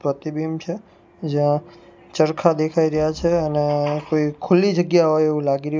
પ્રતિબિંબ છે જ્યાં ચરખા દેખાઈ રહ્યા છે અને કોઈ ખુલ્લી જગ્યા હોઈ એવુ લાગી રહ્યુ--